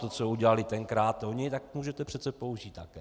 To, co udělali tenkrát oni, tak můžete přece použít také.